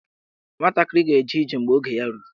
Nwatakịrị ga-eje ije mgbe oge ya ruru.